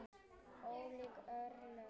Ólík örlög.